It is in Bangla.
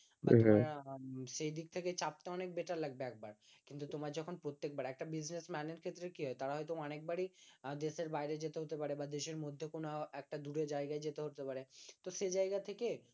সেদিক থেকে চাপতে অনেক better লাগবে একবার কিন্তু তোমার যখন প্রত্যেকবার একটা business man এর ক্ষেত্রে কি হয় তারা হয়তো অনেকবারই দেশের বাইরে যেতে হতে পারে বা দেশের মধ্যে কোনো একটা দূরে যায়গায় যেতে হতে পারে তো সে জায়গা থেকে